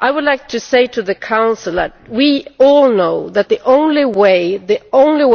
I would like to say to the Council that we all know that the only